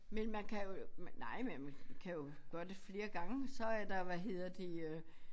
Men man kan jo nej man kan jo gøre det flere gange så er der hvad hedder det øh